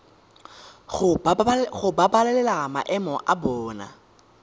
go babalela maemo a bona